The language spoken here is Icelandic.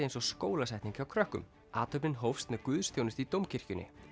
eins og skólasetning hjá krökkum athöfnin hófst með guðsþjónustu í Dómkirkjunni